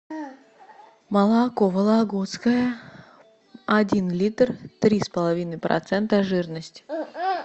молоко вологодское один литр три с половиной процента жирности